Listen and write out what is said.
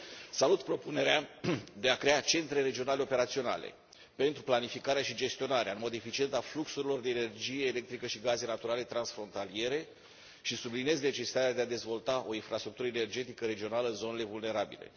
Salut propunerea de a crea centre regionale operaționale pentru planificarea și gestionarea în mod eficient a fluxurilor de energie electrică și gaze naturale transfrontaliere și subliniez necesitatea de a dezvolta o infrastructură energetică regională în zonele vulnerabile.